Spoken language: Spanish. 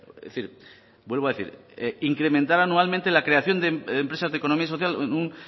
es decir vuelvo a decir incrementar anualmente la creación de empresas de economía social en un